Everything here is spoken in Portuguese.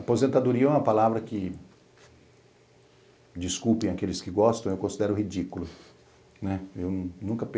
Aposentadoria é uma palavra que, desculpem aqueles que gostam, eu considero ridícula.